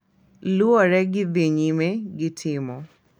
Luwore gi dhi nyime gi temo